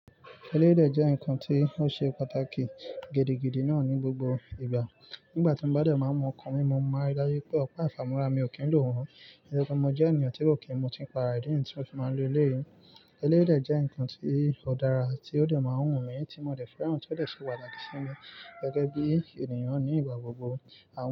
Ẹlẹ́yìí dè jẹ́ nǹkan tí ó ṣe pàtàkì gidigidi náà ní gbogbo ìgbà. Nígbà tí mo bá dẹ̀ máa mu ǹkan mí, mo máa n rí dáju wipé ọ̀pá ìfàmúra mi ò kí ń lò wọ́n. Nítorípé mo jẹ́ ènìyàn tí kò kí ń mu tíì, pàra ìdí niyi tí mo fi máa ń lo eléyì. Ẹleyìí dè jẹ́ nǹkan tí ó dára tí ó dẹ̀ máa ń wù mí, tí mo dẹ̀ fẹ́ràn, tí ó dẹ̀ ṣe pàtàkì sí mi gẹ́gẹ́ bí ènìyàn ní ìgbà gbogbo. Àwọn.